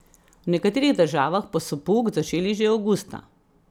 V nekaterih državah pa so pouk začeli že avgusta.